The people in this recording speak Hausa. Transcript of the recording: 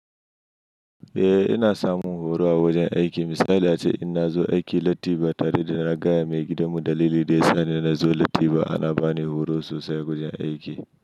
Eh ina samun horo a wajen aiki. Misali ace in nazo aiki latti ba tare da na gaya maigidanu dalilin da yasa na zo latti ba, ana bani horo sosai a wajen aiki.